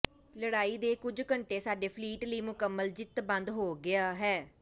ਲੜਾਈ ਦੇ ਕੁਝ ਘੰਟੇ ਸਾਡੇ ਫਲੀਟ ਲਈ ਮੁਕੰਮਲ ਜਿੱਤ ਬੰਦ ਹੋ ਗਿਆ ਹੈ